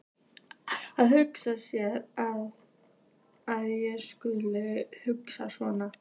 Að hugsa sér að ég skuli hugsa svona!